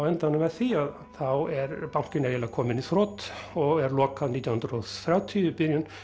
enda með því að þá er bankinn eiginlega kominn í þrot og er lokað nítján hundruð og þrjátíu